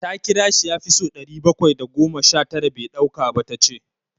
Ta kira shi ya fi so ɗari bakwai da goma sha tara bai ɗauka ba, Ta ce.